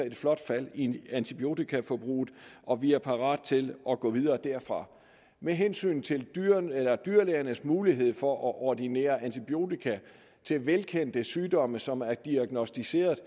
et flot fald i antibiotikaforbruget og vi er parate til at gå videre derfra med hensyn til dyrlægernes mulighed for at ordinere antibiotika til velkendte sygdomme som er diagnosticeret